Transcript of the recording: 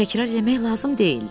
Təkrar eləmək lazım deyildi.